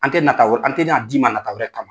An tɛ nata wɛ an tɛ n'a d'i ma nata wɛrɛ kama.